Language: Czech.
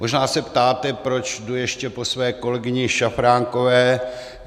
Možná se ptáte, proč jdu ještě po své kolegyni Šafránkové.